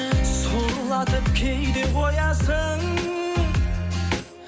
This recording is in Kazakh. сорлатып кейде қоясың